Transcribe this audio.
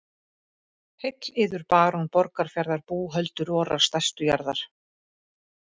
Heill yður barón Borgarfjarðar búhöldur vorrar stærstu jarðar.